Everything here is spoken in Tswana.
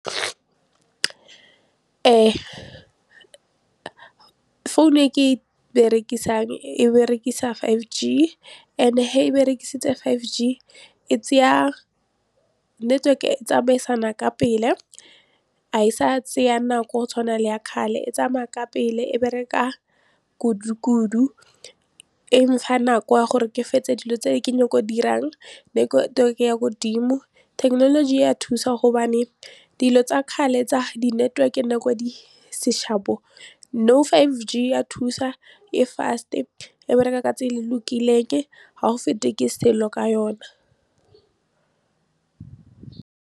Phone e ke e berekisang e berekisa five G and-e ha e berekisitse five G e tseya network-e e tsamaisana ka pele ga e sa tsaya nako go tshwana le ya kgale e tsamaya ka pele e bereka kudu kudu e nfa nako ya gore ke fetse dilo tse ke nyako dirang godimo. Thekenoloji ya thusa gobane dilo tsa kgale tsa di-network-e nako e ne di se sharp-o nou five G ya thusa e fast e e bereka ka tse e le lokileng ga o fete ke selo ka yona.